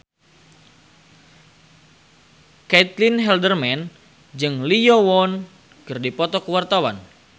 Caitlin Halderman jeung Lee Yo Won keur dipoto ku wartawan